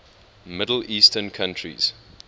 middle eastern countries